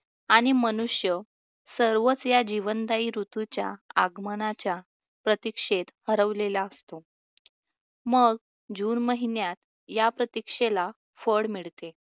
आणि मनुष्य सर्वच या जीवनदायी ऋतूच्या आगमनाच्या प्रतीक्षेत हरवलेला असतो. मग जून महिन्यात या प्रतीक्षेला फळ मिळते